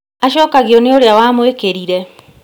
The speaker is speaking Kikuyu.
Acokagio nĩ ũrĩa wa mũĩkĩrire